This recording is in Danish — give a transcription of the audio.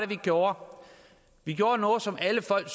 vi gjorde vi gjorde noget som alle folk